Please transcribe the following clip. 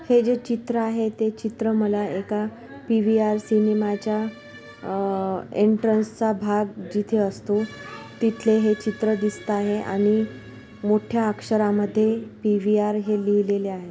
हे जे चित्र आहे ते चित्र मला एका पी_व्ही_आर सिनेमाच्या अह एंट्रन्स भाग जिथे असतो तिथले हे चित्र दिसताहे आणि मोठ्या अक्षरांमध्ये पी_व्ही_आर हे लिहलेले आहे.